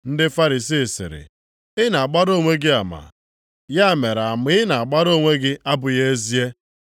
Ndị Farisii sịrị, “Ị na-agbara onwe gị ama! Ya mere ama ị na-agbara onwe gị abụghị ezie.”